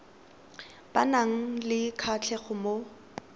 ba nang le kgatlhego mo